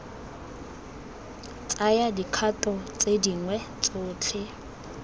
tsaya dikgato tse dingwe tsotlhe